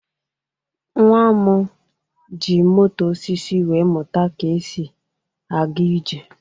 Nnwa m ji moto osisi wee mụta ka esi aga ije.